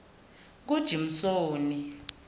kujimsoni